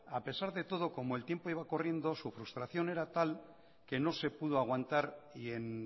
a pesar de todo como el tiempo iba corriendo su frustración era tal que no se pudo aguantar y en